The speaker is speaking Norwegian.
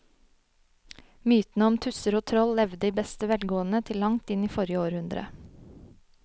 Mytene om tusser og troll levde i beste velgående til langt inn i forrige århundre.